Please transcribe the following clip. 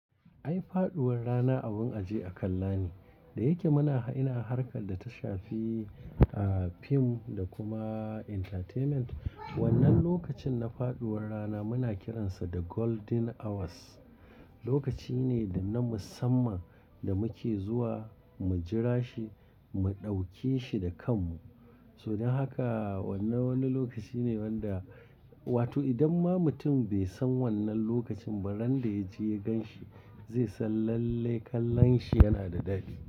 Ai faɗuwar rana abun aje a kallane, da yake muna ina harkar da ta shafi, ah, film da kuma entertainment. Wannan lokacin na faɗuwar rana muna kiransa da golden hours. Lokaci ne da na musamman da muke zuwa mu jira shi, mu ɗauke shi da kanmu. Sodan haka wannan wani lokaci ne wanda, wato idan ma mutum bai san wannan lokacin ba, ran da ya je ya gan shi, zai san lalle kallon shi yana da dadi.